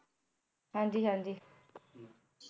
ਹਾਂਜੀ ਹਾਂਜੀ